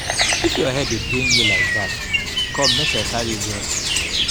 if your head dey pain you like dat come make i carry you go hospital